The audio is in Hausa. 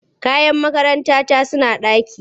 Kayan makarantata suna ɗaki.